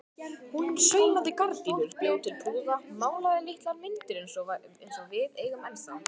Hún saumaði gardínur, bjó til púða, málaði litlar myndir eins og við eigum ennþá.